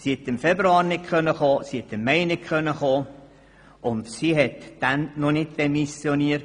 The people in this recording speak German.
Sie hat im Februar und im Mai nicht kommen können und hatte bis zu diesem Zeitpunkt noch nicht demissioniert.